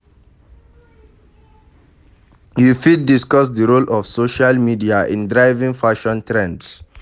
You fit discuss di role of social media in driving fashion trends.